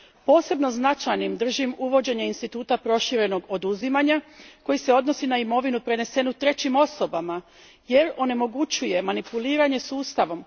Posebno značajnim držim uvođenje instituta proširenog oduzimanja koji se odnosi na imovinu prenesenu trećim osobama, jer onemogućuje manipuliranje sustavom.